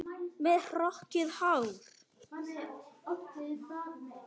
Með hrokkið hár.